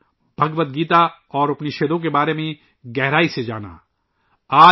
انہوں نے بھگوت گیتا اور اُپنیشدوں کا گہرائی سے مطالعہ کیا